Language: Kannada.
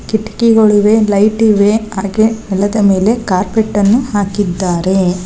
ಕಿಟಕಿಗಳಿವೆ ಲೈಟ್ ಇವೆ ಹಾಗೆ ನೆಲದ ಮೇಲೆ ಕಾರ್ಪೆಟ್ ಗಳನ್ನು ಹಾಕಿದ್ದಾರೆ.